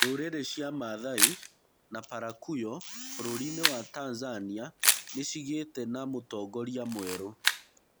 Ndũrĩrĩ cia mathai na Parakuyo bũrũri- nĩ wa Tanzania nĩ cigĩte na mũtongorĩa mwerũ.